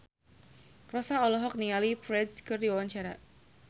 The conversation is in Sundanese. Rossa olohok ningali Ferdge keur diwawancara